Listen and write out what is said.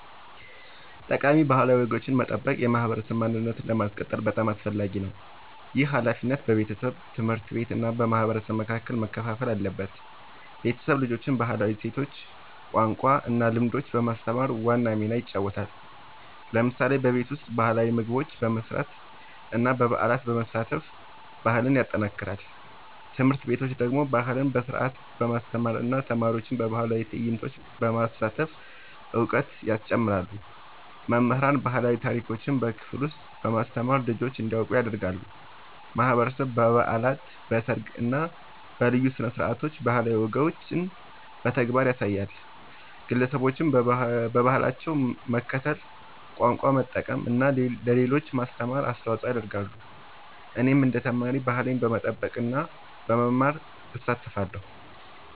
ጠቃሚ ባህላዊ ወጎችን መጠበቅ የማህበረሰብ ማንነትን ለማስቀጠል በጣም አስፈላጊ ነው። ይህ ሃላፊነት በቤተሰብ፣ ትምህርት ቤት እና በማህበረሰብ መካከል መከፋፈል አለበት። ቤተሰብ ልጆችን ባህላዊ እሴቶች፣ ቋንቋ እና ልምዶች በማስተማር ዋና ሚና ይጫወታል። ለምሳሌ በቤት ውስጥ ባህላዊ ምግቦች መስራት እና በበዓላት መሳተፍ ባህልን ያጠናክራል። ትምህርት ቤቶች ደግሞ ባህልን በስርዓት በማስተማር እና ተማሪዎችን በባህላዊ ትዕይንቶች በማሳተፍ እውቀት ያስጨምራሉ። መምህራን ባህላዊ ታሪኮችን በክፍል ውስጥ በማስተማር ልጆች እንዲያውቁ ያደርጋሉ። ማህበረሰብ በበዓላት፣ በሰርግ እና በልዩ ስነ-ስርዓቶች ባህላዊ ወጎችን በተግባር ያሳያል። ግለሰቦችም በባህላቸው መከተል፣ ቋንቋ መጠቀም እና ለሌሎች ማስተማር አስተዋጽኦ ያደርጋሉ። እኔም እንደ ተማሪ ባህሌን በመጠበቅ እና በመማር እሳተፋለሁ።